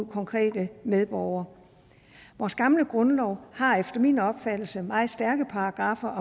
konkrete medborgere vores gamle grundlov har efter min opfattelse meget stærke paragraffer